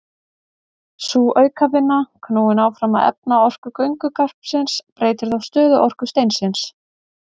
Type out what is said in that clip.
Sú aukavinna, knúin áfram af efnaorku göngugarpsins, breytir þá stöðuorku steinsins.